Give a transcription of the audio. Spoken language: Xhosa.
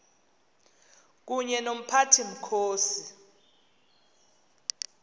kunye nomphathi mkhosi